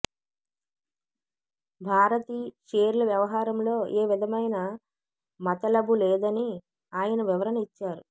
భారతీ షేర్ల వ్యవహారంలో ఏ విధమైన మతలబు లేదని ఆయన వివరణ ఇచ్చారు